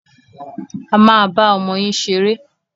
A máa bá ọmọ yín ṣeré.